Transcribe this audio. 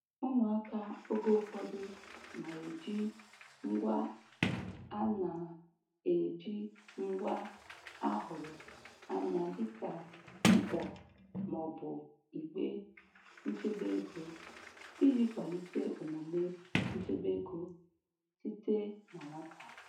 Ụmụaka oge ụfọdụ na-eji ngwa a na-eji ngwa a hụrụ anya dịka mkpọ ma ọ bụ igbe nchebe ego iji kwalite omume nchebe ego site na nwata.